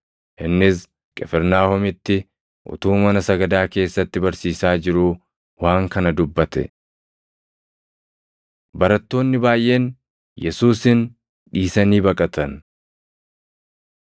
Innis Qifirnaahomitti utuu mana sagadaa keessatti barsiisaa jiruu waan kana dubbate. Barattoonni Baayʼeen Yesuusin Dhiisanii Baqatan